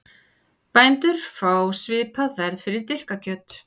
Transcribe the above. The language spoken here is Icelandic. Bændur fá svipað verð fyrir dilkakjöt